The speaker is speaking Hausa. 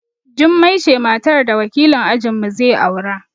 Jummai ce matar da wakilin ajin mu zai aura